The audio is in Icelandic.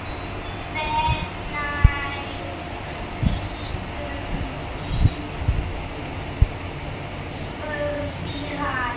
Hvenær flytjum við? spurði hann.